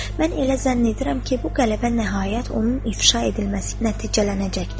Mən elə zənn edirəm ki, bu qələbə nəhayət onun ifşa edilməsi nəticələnəcəkdir.